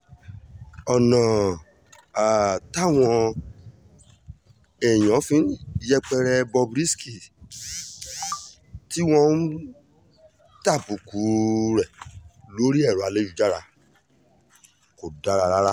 ọ̀nà um táwọn èèyàn fi ń yẹpẹrẹ bob risky tí um wọ́n ń tàbùkù rẹ̀ lórí ẹ̀rọ ayélujára kò dáa rárá